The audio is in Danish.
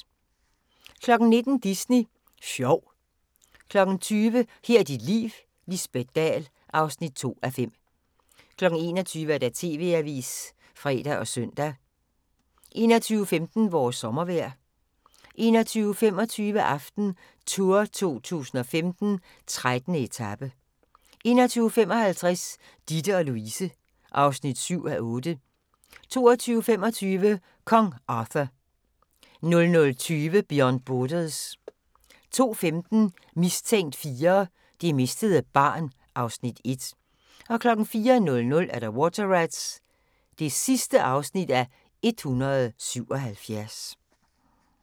19:00: Disney Sjov 20:00: Her er dit liv: Lisbet Dahl (2:5) 21:00: TV-avisen (fre og søn) 21:15: Vores sommervejr 21:25: AftenTour 2015: 13. etape 21:55: Ditte & Louise (7:8) 22:25: Kong Arthur 00:20: Beyond Borders 02:15: Mistænkt 4: Det mistede barn (Afs. 1) 04:00: Water Rats (177:177)